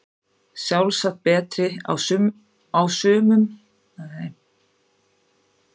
Sjálfsagt betri á sumum